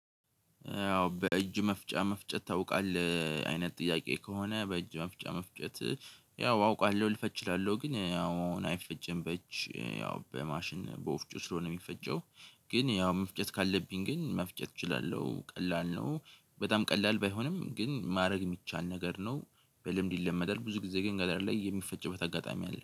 ያው በእጅ መፍጫ መፍጨት ታውቃለህ? አይነት ጥያቄ ከሆነ በእጅ መፍጫ መፍጨት ያው አውቃለሁ፤ ልፈጭ እችላለሁ። ግን ያው አሁን አይፈጭም በእጅ። ያው በማሽን በወፍጮ ስለሆነ የሚፈጨው፤ ግን ያው መፍጨት ካለብኝ ግን መፍጨት እችላለሁ። ቀላል ነው በጣም ቀላል ባይሆንም ግን ማድረግ የሚቻል ነገር ነው። በልምድ ይለመዳል ብዙ ጊዜ ግን ገጠር ላይ የሚፈጭበት አጋጣሚ አለ።